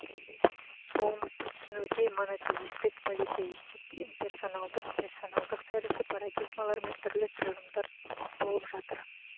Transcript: болмысты түсінуде монотеистік политеистік имперсоналдық персоналдық тәрізді парадигмалар мен түрлі тұжырымдар толып жатыр